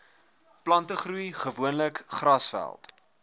plantegroei gewoonlik grasveld